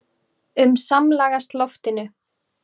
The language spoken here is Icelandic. um samlagast loftinu.